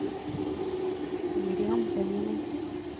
Miriam Benjaminsen